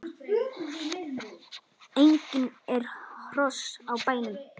Einnig eru hross á bænum.